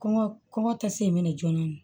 Kɔngɔ kɔngɔ tase in bɛ na joona